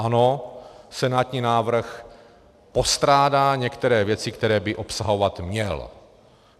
Ano, senátní návrh postrádá některé věci, které by obsahovat měl.